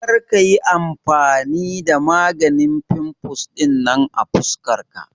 Kar ka yi amfani da maganin fimfles ɗinan a fuskar ka.